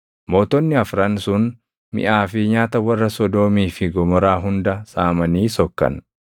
Mootonni afran sun miʼaa fi nyaata warra Sodoomii fi Gomoraa hunda saamanii sokkan.